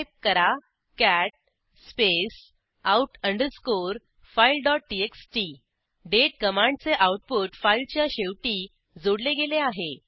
type करा cat space out underscore fileटीएक्सटी दाते कमांडचे आऊटपुट फाईलच्या शेवटी जोडले गेले आहे